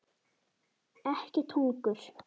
Ekkert hungur.